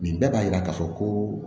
Nin bɛɛ b'a yira k'a fɔ koo